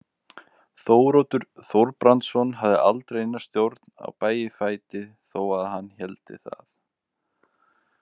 Þóroddur Þorbrandsson hafði aldrei neina stjórn á Bægifæti þó að hann héldi það.